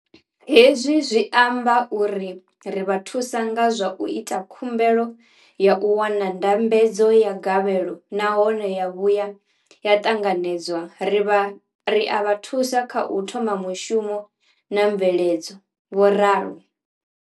Hezwi zwi amba uri ri vha thusa nga zwa u ita khumbelo ya u wana ndambedzo ya gavhelo nahone ya vhuya ya ṱanganedzwa, ri a vha thusa kha u thoma mushumo na mveledzo, vho ralo.